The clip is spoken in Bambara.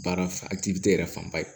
Baara yɛrɛ fanba ye